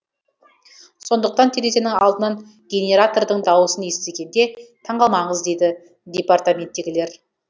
сондықтан терезенің алдынан генератордың дауысын естігенде таңғалмаңыз дейді департаменттегілер